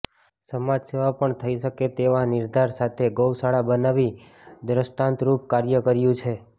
સમાજ સેવા પણ થઇ શકે તેવા નિર્ધાર સાથે ગૌ શાળા બનાવી દ્રષ્ટાંતરૃપ કાર્ય કર્યુ છે